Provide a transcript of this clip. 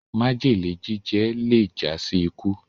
májèlé jíjẹ le já sí ikú